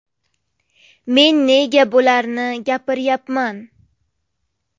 Men nega bularni gapiryapman.